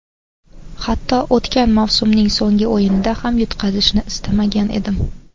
Hatto o‘tgan mavsumning so‘nggi o‘yinida ham yutqazishni istamagan edim.